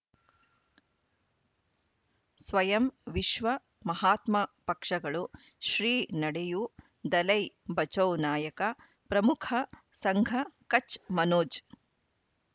ಸ್ವಯಂ ವಿಶ್ವ ಮಹಾತ್ಮ ಪಕ್ಷಗಳು ಶ್ರೀ ನಡೆಯೂ ದಲೈ ಬಚೌ ನಾಯಕ ಪ್ರಮುಖ ಸಂಘ ಕಚ್ ಮನೋಜ್